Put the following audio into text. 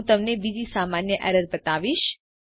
હું તમને બીજી સામાન્ય એરર બતાવીશ